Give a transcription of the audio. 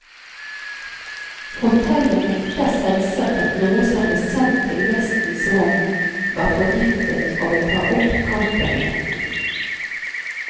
Hotellet nekter selvsagt at noe som ble sendt til gjestens rom, var forgiftet og vil ta opp kampen i retten.